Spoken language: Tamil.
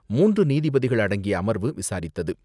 மூன்று நீதிபதிகள் அடங்கிய அமர்வு விசாரித்தது.